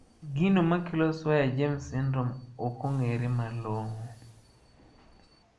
Gino makelo Swyer James syndrome okong`ere malong`o.